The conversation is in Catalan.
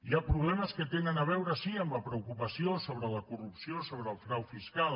hi ha problemes que tenen a veure sí amb la preocupació sobre la corrupció sobre el frau fiscal